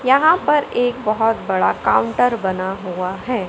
यहां पर एक बहुत बड़ा काउंटर बना हुआ है।